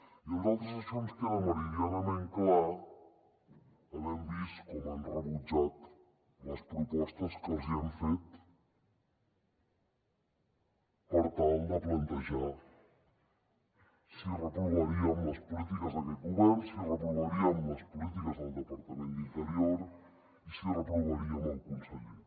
i a nosaltres això ens queda meridianament clar havent vist com han rebutjat les propostes que els hi hem fet per tal de plantejar si reprovaríem les polítiques d’aquest govern si reprovaríem les polítiques del departament d’interior i si reprovaríem el conseller